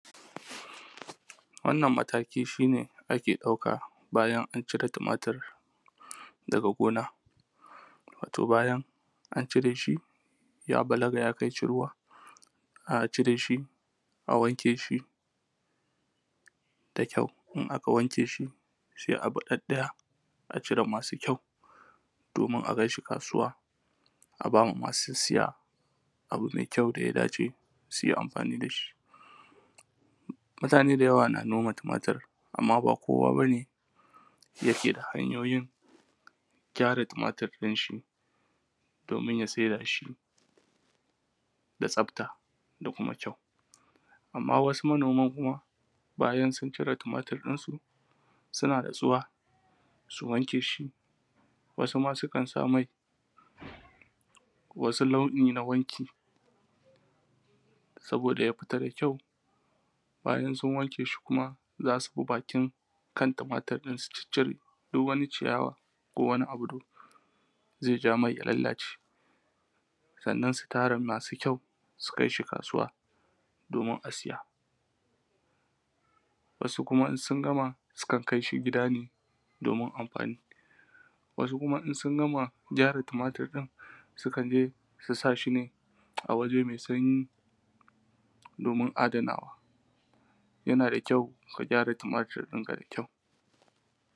wannan mataki shi ne ake ɗauka bayan an cire tumatir daga gona wato bayan an cire shi ya balaga ya kai ciruwa a cire shi a wanke shi da kyau in aka wanke shi sai a bi ɗaɗɗaya a cire masu kyau domin akai shi kasuwa a bama ma su siya abu mai kyau da ya dace su yi amfani da shi mutane da yawa na noma tumatir amma ba kowa ba ne yake da hanyoyin gyara tumatir ɗin shi domin ya saida shi da tsafta da kuma kyau amma wasu manoman kuma bayan sun cire tumatir ɗinsu suna natsuwa su wanke shi wasu ma sukan sa mai wasu launi na wanki saboda ya fita da kyau bayan sun wanke shi kuma za su bi bakin kan tumatir ɗin su ciccire duk wani ciyawa kowane abu domin zai ja mai ya lallace sannan su tara masu kyau su kai su kasuwa domin a siya wasu kuma in sun gama sukan kai shi gidane domin amfani wasu kuma in sun gama gyara tumatir ɗin su kan je su sa shi ne a waje mai sanyi domin adanawa yana da kyau ka gyara tumatir ɗinka da kyau